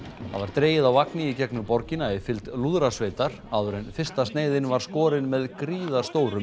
það var dregið á vagni í gegnum borgina í fylgd lúðrasveitar áður en fyrsta sneiðin var skorin með gríðarstórum